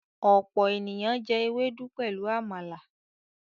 ọpọ ènìyàn jé Ewédú pẹlú àmàlà.